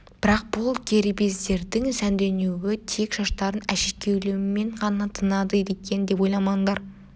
бірақ бұл кербездердің сәнденуі тек шаштарын әшекейлеумен ғана тынады екен деп ойламаңдар